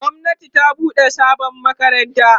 gwamnati ta buɗe sabon makarantu